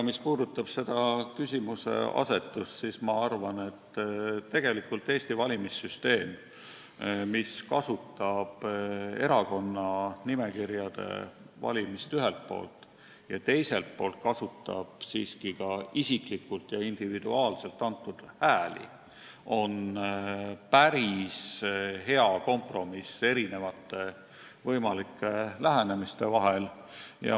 Mis puudutab aga sinu küsimuseasetust, siis ma arvan, et tegelikult Eesti valimissüsteem, mis kasutab ühelt poolt erakonna nimekirjade valimist ja teiselt poolt siiski ka isiklikult ja individuaalselt antud hääli, on päris hea kompromiss võimalike lähenemisviiside vahel.